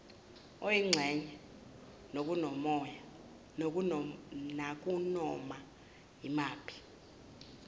oyingxenye nakunoma yimaphi